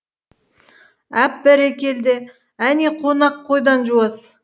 әп бәрекелді әне қонақ қойдан жуас